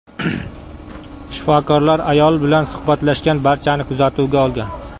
Shifokorlar ayol bilan suhbatlashgan barchani kuzatuvga olgan.